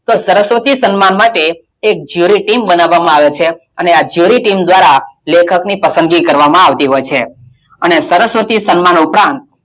તો સરસ્વતી સન્માન માટે એક jury team બનાવવામાં આવે છે અને આ jury team દ્વારાં લેખકની પસંદગી કરવામાં આવતી હોય છે અને સરસ્વતી સન્માન ઉપરાંત,